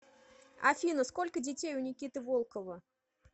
афина сколько детей у никиты волкова